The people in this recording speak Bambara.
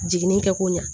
Jiginni kɛ ko ɲa